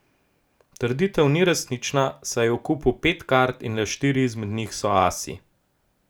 Trditev ni resnična, saj je v kupu pet kart in le štiri izmed njih so asi.